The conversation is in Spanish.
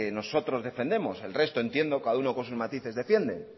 nosotros defendemos el resto entiendo cada uno con sus matices defiende